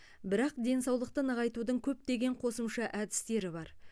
бірақ денсаулықты нығайтудың көптеген қосымша әдістері бар